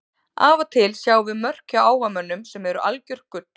Af og til sjáum við mörk hjá áhugamönnum sem eru algjört gull.